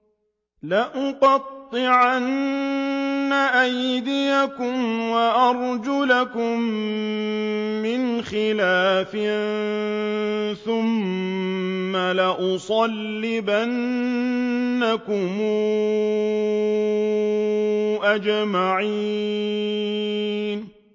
لَأُقَطِّعَنَّ أَيْدِيَكُمْ وَأَرْجُلَكُم مِّنْ خِلَافٍ ثُمَّ لَأُصَلِّبَنَّكُمْ أَجْمَعِينَ